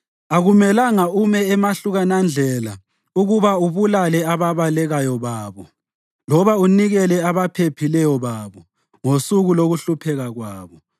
Akumelanga ume emahlukanandlela ukuba ubulale ababalekayo babo, loba unikele abaphephileyo babo ngosuku lokuhlupheka kwabo.